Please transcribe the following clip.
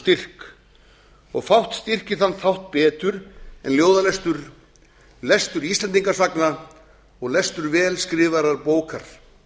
styrk og fátt styrkir þann þátt betur en ljóðalestur lestur íslendingasagna og lestur vel skrifaðrar bókar